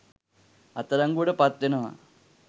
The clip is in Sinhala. අත්අඩංගුවට පත් වෙනවා